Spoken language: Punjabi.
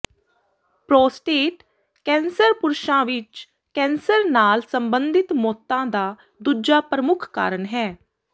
ਪ੍ਰੋਸਟੇਟ ਕੈਂਸਰ ਪੁਰਸ਼ਾਂ ਵਿਚ ਕੈਂਸਰ ਨਾਲ ਸੰਬੰਧਿਤ ਮੌਤਾਂ ਦਾ ਦੂਜਾ ਪ੍ਰਮੁੱਖ ਕਾਰਨ ਹੈ